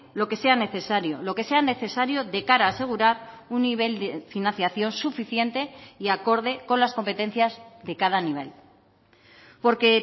lo que sea necesario lo que sea necesario de cara a asegurar un nivel de financiación suficiente y acorde con las competencias de cada nivel porque